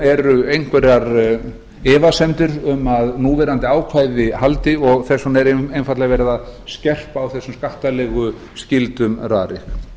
eru einhverjar efasemdir um að núverandi ákvæði haldi og þess vegna er einfaldlega verið að skerpa á þessum skattalegu skyldum rarik